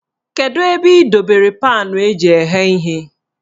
Kedu ebe ị dobere paanụ eji eghe ihe?